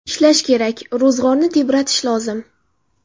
Ishlash kerak, ro‘zg‘orni tebratish lozim.